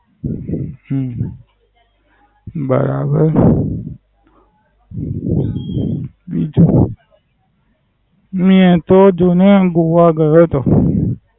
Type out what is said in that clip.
હમ બરાબર. બીજું શું. હું તો દમણ ગોવા ગયો હતો.